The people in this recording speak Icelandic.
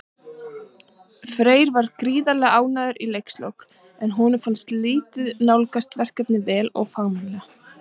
Freyr var gríðarlega ánægður í leikslok, en honum fannst liðið nálgast verkefnið vel og fagmannlega.